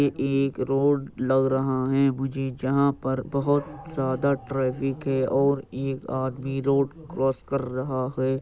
ये एक रोड लग रहा है मुझे जहां पर बहुत ज्यादा ट्राफिक है और एक आदमी रोड क्रॉस कर रहा है।